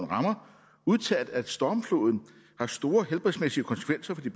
rammer udtalt at stormfloden har store helbredsmæssige konsekvenser